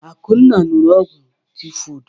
Akunna ṅụụrụ ogwu tịfodụ.